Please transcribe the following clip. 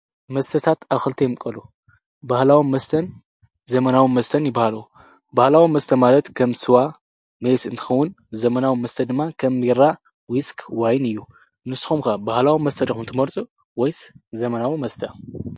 መስተታት ኣብ ክልተ ይምቀሉ ባህላዊ መስተን ዘመናዊ መስተን ይባህሉ። ባህላዊ መስተ ማለት ከም ስዋ፣ ሜስ እንትኸውን። ዘመናዊ መስተ ድማ ከም ቢራ፣ ውስኪ ፣ወይኒ እዩ ። ንስኩም ከ ባህላዊ መስተ ድኹም ትመርፁ ወይ ዘመናዊ መስተ?